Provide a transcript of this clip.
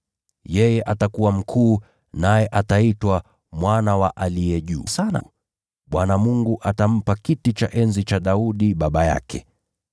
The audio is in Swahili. Yeye atakuwa mkuu, naye ataitwa Mwana wa Aliye Juu Sana. Bwana Mungu atampa kiti cha enzi cha Daudi baba yake.